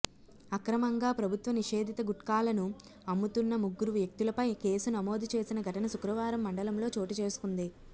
అక్రమంగా ప్రభుత్వ నిషేధిత గుట్కాలను అమ్ముతున్న ముగ్గురు వ్యక్తులపై కేసు నమోదు చేసిన ఘటన శుక్రవారం మండలంలో చోటు చేసుకుంది